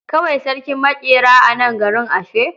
Akwai sarkin maƙera a nan garin ashe?